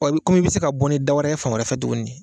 Wa i bɛ komi i bɛ se ka bɔ ni da wɛrɛ ye fan wɛrɛfɛ tuguni.